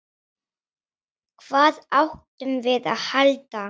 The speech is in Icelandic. Hvað áttum við að halda?